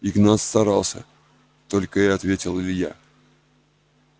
игнат старался только и ответил илья